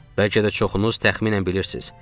Bəlkə də çoxunuz təxminən bilirsiz.